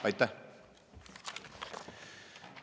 Aitäh!